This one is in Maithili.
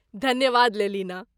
धन्यवाद लेलिना।